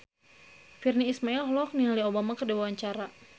Virnie Ismail olohok ningali Obama keur diwawancara